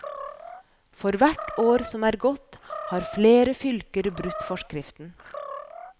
For hvert år som er gått, har flere fylker brutt forskriften.